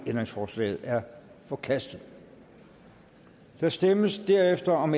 ændringsforslaget er forkastet der stemmes derefter om